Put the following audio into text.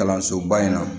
Kalansoba in na